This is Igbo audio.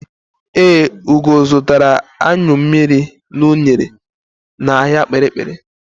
Ee, Ugo zụtara anyụ mmiri na unere n'ahịa Kpiri-kpiri.